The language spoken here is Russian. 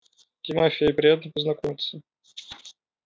тимофей приятно познакомиться